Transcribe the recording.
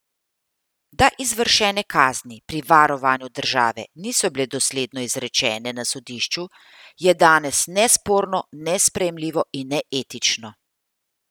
Da izvršene kazni pri varovanju države niso bile dosledno izrečene na sodišču, je danes nesporno nesprejemljivo in neetično.